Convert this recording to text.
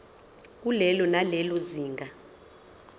kulelo nalelo zinga